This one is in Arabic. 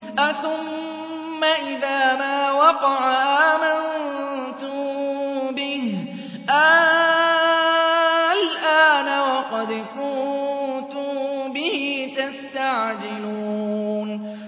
أَثُمَّ إِذَا مَا وَقَعَ آمَنتُم بِهِ ۚ آلْآنَ وَقَدْ كُنتُم بِهِ تَسْتَعْجِلُونَ